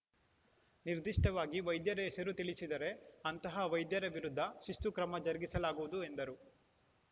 ನಿರ್ದಿಷ್ಟವಾಗಿ ವೈದ್ಯರ ಹೆಸರು ತಿಳಿಸಿದರೆ ಅಂತಹ ವೈದ್ಯರ ವಿರುದ್ಧ ಶಿಸ್ತು ಕ್ರಮ ಜರುಗಿಸಲಾಗುವುದು ಎಂದರು